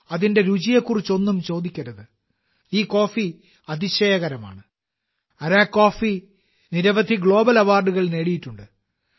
അതിന്റെ രുചിയെക്കുറിച്ചൊന്നും ചോദിക്കരുത് ഈ കോഫി അതിശയകരമാണ് അരക്കു കോഫി നിരവധി ഗ്ലോബൽ അവാർഡുകൾ നേടിയിട്ടുണ്ട്